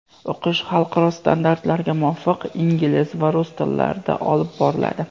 O‘qish xalqaro standartlarga muvofiq ingliz va rus tillarida olib boriladi.